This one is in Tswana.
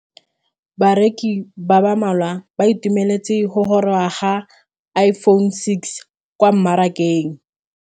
Bareki ba ba malwa ba ituemeletse go gôrôga ga Iphone6 kwa mmarakeng.